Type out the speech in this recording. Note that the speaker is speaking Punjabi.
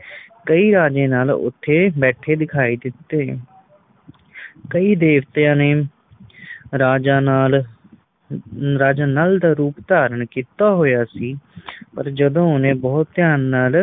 ਕਈ ਰਾਜੇ ਨਾਲ ਓਥੇ ਬੈਠੇ ਦਿਖਾਈ ਦਿੱਤੇ ਕਈ ਦੇਵਤਿਆਂ ਨੇ ਰਾਜਾ ਨਾਲ ਅਹ ਰਾਜਾ ਨੱਲ ਦਾ ਰੂਪ ਧਾਰਨ ਕੀਤਾ ਹੋਇਆ ਸੀ ਪਰ ਜਦੋ ਓਹਨੇ ਬੋਹੋਤ ਧਿਆਨ ਨਾਲ